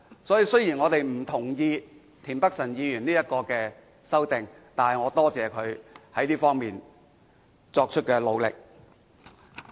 因此，雖然我們不同意田北辰議員的修正案，但仍感謝他在這方面作出的努力。